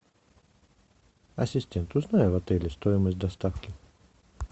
ассистент узнай в отеле стоимость доставки